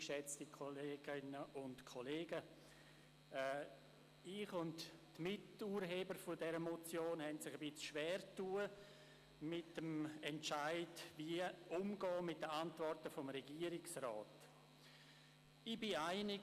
Ich und die Miturheber der Motion haben uns mit dem Entscheid schwergetan, wie wir mit den Antworten des Regierungsrats umgehen sollen.